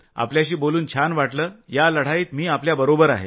आपल्याशी बोलून छान वाटलं या लढाईत मी आपल्याबरोबर आहे